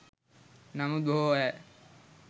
නමුත් බොහෝ අය